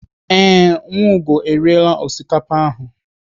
Ee, Nwaugo eriela osikapa ahụ.